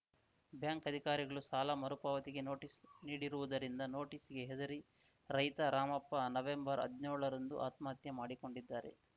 bank ಅಧಿಕಾರಿಗಳು ಸಾಲ ಮರುಪಾವತಿಗೆ ನೋಟಿಸ್‌ ನೀಡಿರುವುದರಿಂದ ನೋಟಿಸ್‌ಗೆ ಹೆದರಿ ರೈತ ರಾಮಪ್ಪ ನವೆಂಬರ್ಹದ್ನ್ಯೋಳ ರಂದು ಆತ್ಮಹತ್ಯೆ ಮಾಡಿಕೊಂಡಿದ್ದಾರೆ